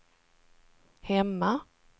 hemma